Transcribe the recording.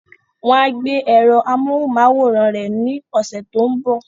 Wọ́n á gbé èrò amóhunmáwòrán rẹ̀ ní ọ̀sẹ̀ tó ń bọ̀